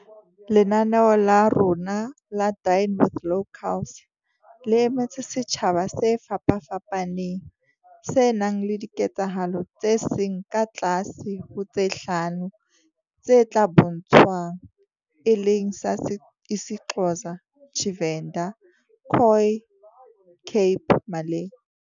Lenaneo la rona la Dine with Locals le emetse setjha ba se fapafapaneng, se nang le diketsahalo tse seng ka tlase ho tse hlano tse tla bo ntshwang, e leng sa isiXhosa, Tshivenḓa, Khoi, Cape Malay.